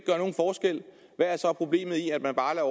gør er så problemet i at man bare